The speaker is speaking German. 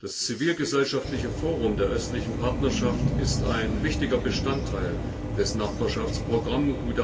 Das zivilgesellschaftliche Forum der östlichen Partnerschaft ist ein wichtiger Bestandteil des Nachbarschaftsprogramms.